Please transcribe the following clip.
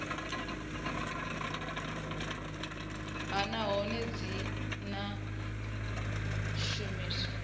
nha nahone dzi o shumiwa